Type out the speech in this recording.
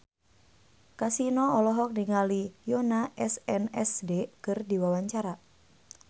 Kasino olohok ningali Yoona SNSD keur diwawancara